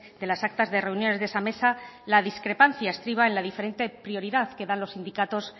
de las actas de reuniones de esa mesa la discrepancia estriba en la diferente prioridad que dan los sindicatos